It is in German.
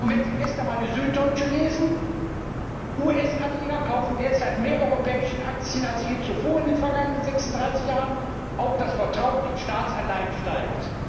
Und wenn Sie gestern einmal die Süddeutsche Zeitung gelesen haben US Anleger kaufen derzeit mehr europäische Aktien als je zuvor in den vergangenen 36 Jahren, auch das Vertrauen in Staatsanleihen steigt.